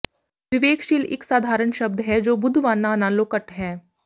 ਵਿਵੇਕਸ਼ੀਲ ਇਕ ਸਾਧਾਰਨ ਸ਼ਬਦ ਹੈ ਜੋ ਬੁੱਧਵਾਨਾਂ ਨਾਲੋਂ ਘੱਟ ਹੈ